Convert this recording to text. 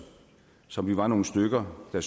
som vi var nogle stykker der